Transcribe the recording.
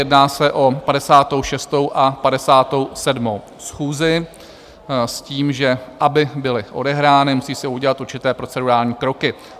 Jedná se o 56. a 57. schůzi, s tím, že aby byly odehrány, musí se udělat určité procedurální kroky.